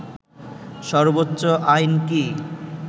সর্বোচ্চ আইন কি